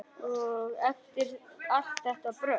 Og eftir allt þetta brölt!